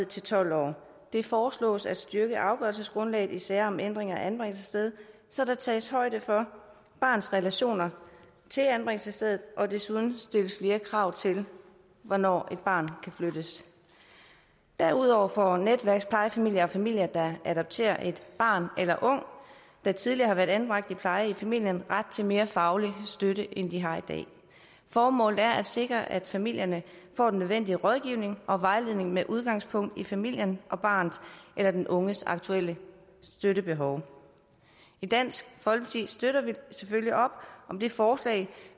til tolv år det foreslås at styrke afgørelsesgrundlaget i sager om ændring af anbringelsessted så der tages højde for barnets relationer til anbringelsesstedet og desuden stilles flere krav til hvornår et barn kan flyttes derudover får netværksplejefamilier og familier der adopterer et barn eller en ung der tidligere har været anbragt i pleje i familien ret til mere faglig støtte end de har i dag formålet er at sikre at familierne får den nødvendige rådgivning og vejledning med udgangspunkt i familien og barnets eller den unges aktuelle støttebehov i dansk folkeparti støtter vi selvfølgelig op om det forslag